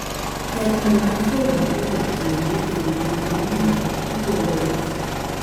Ber mondo dichwo owinjre kod chiege e wii gima omiyo igolo ich.